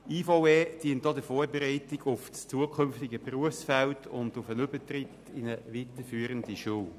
Die IVE dient auch der Vorbereitung auf das zukünftige Berufsfeld und den Übertritt in eine weiterführende Schule.